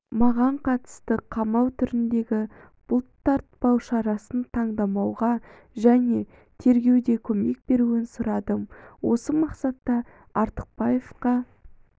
маған қатысты қамау түріндегі бұлтартпау шарасын таңдамауға және тергеуде көмек беруін сұрадым осы мақсатта артықбаевқа